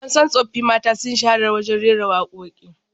An san tsoffin mata sun shahara wajen rera wakoki